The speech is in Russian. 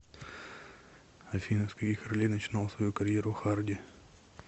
афина с каких ролей начинал свою карьеру харди